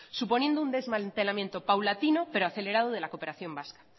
suponiendo un desmantelamiento paulatino pero acelerado de la cooperación vasca